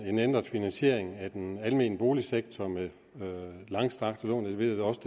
en ændret finansiering af den almene boligsektor med langstrakte lån og det ved jeg da også